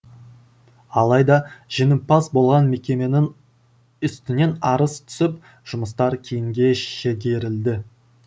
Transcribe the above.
алайда жеңімпаз болған мекеменің үстінен арыз түсіп жұмыстар киінге шегерілді